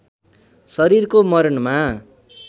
शरीरको मरणमा